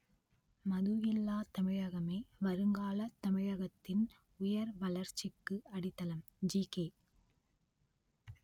மதுவில்லா தமிழகமே வருங்கால தமிழகத்தின் உயர் வளர்ச்சிக்கு அடித்தளம் ஜிகே